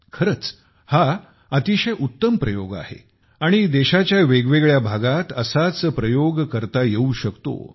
खरंच हा अतिशय उत्तम प्रयोग आहे आणि देशाच्या वेगवेगळ्या भागात असाच प्रयोग करता येऊ शकतो